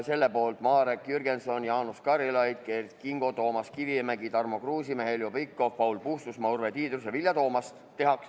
Selle poolt olid Marek Jürgenson, Jaanus Karilaid, Kert Kingo, Toomas Kivimägi, Tarmo Kruusimäe, Heljo Pikhof, Paul Puustusmaa, Urve Tiidus ja Vilja Toomast.